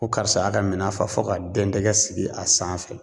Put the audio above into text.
Ko karisa y'a ka minɛn fa fɔ ka dɛndɛgɛ sigi a sanfɛ.